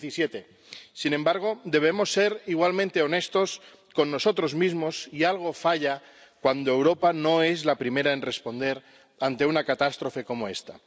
2017. Sin embargo, debemos ser igualmente honestos con nosotros mismos, y algo falla cuando Europa no es la primera en responder ante una catástrofe como esta.